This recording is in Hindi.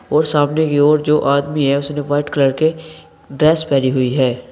और सामने की ओर जो आदमी है उसने व्हाइट कलर के ड्रेस पहनी हुई है।